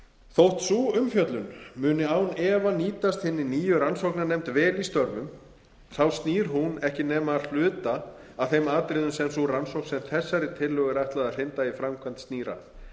þótt sú umfjöllun muni án efa nýtast hinni nýju rannsóknarnefnd vel í störfum sínum þá snýr hún ekki nema að hluta að þeim atriðum sem sú rannsókn sem þessari tillögu er ætlað að hrinda í framkvæmd snýr að